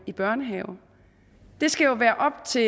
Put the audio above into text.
i børnehave det skal jo være op til